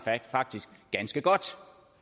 ganske godt